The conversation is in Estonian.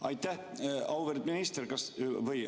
Aitäh!